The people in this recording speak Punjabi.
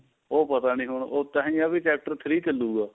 ਉਹ ਪਤਾ ਨੀ ਹੁਣ ਤਾਹੀਂ ਆ ਵੀ chapter three ਚੱਲੂਗਾ